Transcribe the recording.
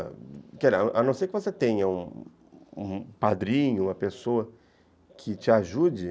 A não ser que você tenha um padrinho, uma pessoa que te ajude.